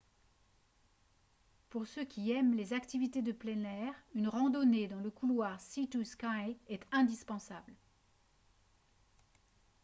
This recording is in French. pour ceux qui aiment les activités de plein air une randonnée dans le couloir sea to sky est indispensable